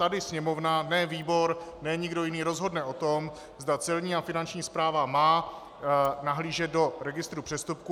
Tady Sněmovna, ne výbor, ne nikdo jiný rozhodne o tom, zda Celní a Finanční správa má nahlížet do registru přestupků.